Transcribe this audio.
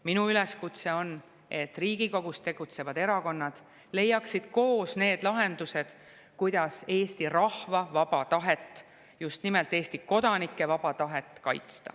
Minu üleskutse on, et Riigikogus tegutsevad erakonnad leiaksid koos need lahendused, kuidas Eesti rahva vaba tahet, just nimelt Eesti kodanike vaba tahet kaitsta.